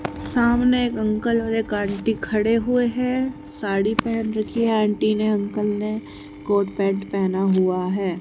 सामने एक अंकल और आंटी खड़े हुए है। साड़ी पहन रखी आंटी ने अंकल ने कोट पैंट पहना हुआ है।